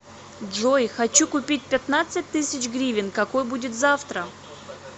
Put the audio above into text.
джой хочу купить пятнадцать тысяч гривен какой будет завтра